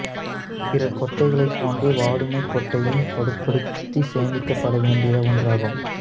பிற கொட்டைகளைப் போன்றே வாதுமைக் கொட்டையும் பதப்படுத்தி சேமிக்கப்பட வேண்டிய ஒன்றாகும்